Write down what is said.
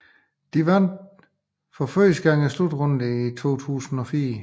De vandt for første gang slutrunden i 2004